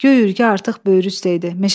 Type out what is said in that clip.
Göy ürgə artıq böyrü üstə idi.